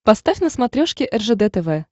поставь на смотрешке ржд тв